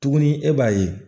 Tuguni e b'a ye